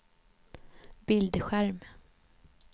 bildskärm